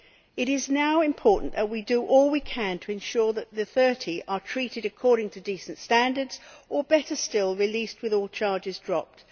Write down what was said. It is now important that we do all we can to ensure that the 30 are treated according to decent standards or, better still, released with all charges dropped.